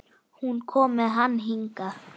Hún kom með hann hingað.